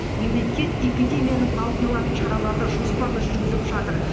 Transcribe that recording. мемлекет эпидемияның алдын алатын шараларды жоспарлы жүргізіп жатыр